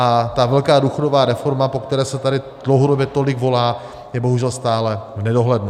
A ta velká důchodová reforma, po které se tady dlouhodobě tolik volá, je bohužel stále v nedohlednu.